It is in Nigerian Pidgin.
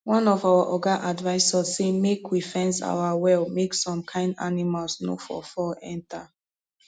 one of our oga advice us say make we fence our well make some kind animals nor for fall enter